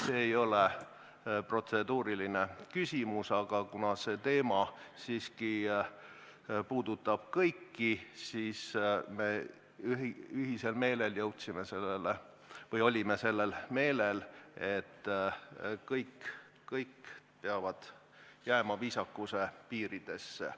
See ei ole protseduuriline küsimus, aga kuna see teema puudutab siiski kõiki, siis ütlen, et me olime sellel meelel, et kõik peavad jääma viisakuse piiridesse.